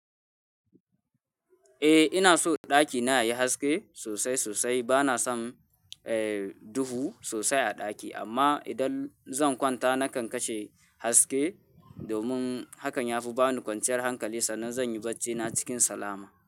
Eh ina so ɗakina yayi haske sosai sosai. Bana son, eh, duhu sosai a ɗaki amma idan zan kwanta nakan kashe haske domin hakan yafi bani kwanciyar hankali sannan zan yi barcina cikin salama.